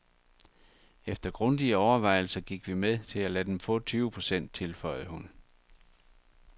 Efter grundige overvejelser gik vi med til at lade dem få tyve procent, tilføjede hun.